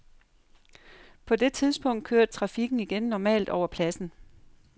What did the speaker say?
På det tidspunkt kørte trafikken igen normalt over pladsen.